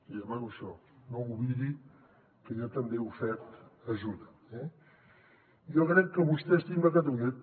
li demano això no oblidi que jo també he ofert ajuda eh jo crec que vostè estima catalunya